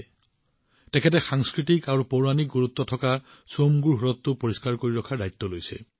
চাংগেজীয়ে সাংস্কৃতিক আৰু ঐতিহ্যময় চোমগো হ্ৰদ পৰিষ্কাৰ ৰখাৰ কাম হাতত লৈছে